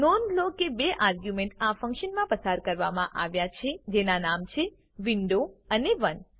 નોંધ લો કે બે આર્ગ્યુંમેંટ આ ફંક્શનમાં પાસ કરવામાં આવ્યા છે જેના નામ છે વિન્ડો અને 1